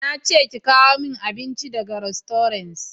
Na ce ki kawo min abinci daga rastoran!